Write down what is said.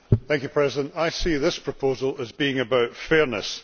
Madam President, I see this proposal as being about fairness.